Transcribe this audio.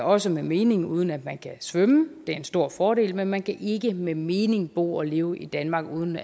også med mening uden at man kan svømme det er en stor fordel men man kan ikke med mening bo og leve i danmark uden